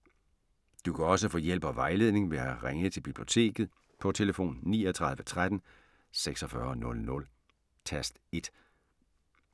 Du kan også få hjælp og vejledning ved at ringe til Biblioteket på tlf. 39 13 46 00, tast 1.